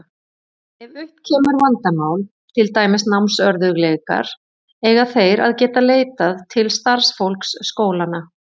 Ef upp kemur vandamál, til dæmis námsörðugleikar, eiga þeir að geta leitað til starfsfólks skólanna.